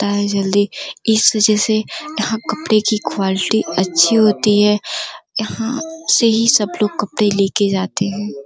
ता है जल्दी इस वजह से यहाँ कपडे की क्वालिटी अच्छी होती है यहाँ से ही सब लोग कपडे लेके जाते हैं।